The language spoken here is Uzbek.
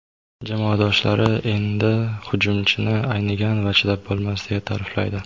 Jamoadoshlari endi hujumchini "aynigan" va "chidab bo‘lmas" deya ta’riflaydi.